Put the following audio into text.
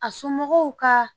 A somɔgɔw ka